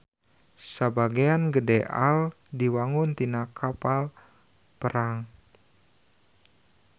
Sabagean gede AL diwangun tina kapal perang.